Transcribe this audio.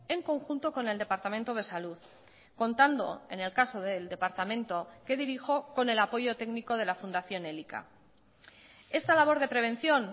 en conjunto con el departamento de salud contando en el caso del departamento que dirijo con el apoyo técnico de la fundación elika esta labor de prevención